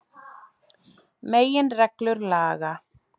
Meginreglur laga.